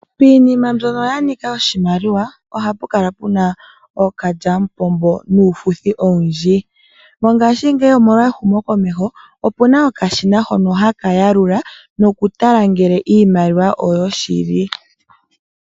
Piinima mbyono ya nika oshimaliwa ohapu kala puna ookalyamupombo nuufuthi owundji. Mongaashingeyi omolwa ehumokomeho opuna okashina hono haka yalula noku tala ngele iimaliwa oyo shili.